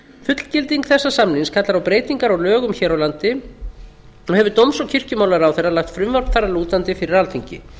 fullgilding þessa samnings kallar á breytingar á lögum hér á landi og hefur dóms og kirkjumálaráðherra lagt frumvarp þar að lútandi fyrir alþingi